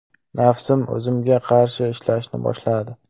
Nafsim o‘zimga qarshi ishlashni boshladi.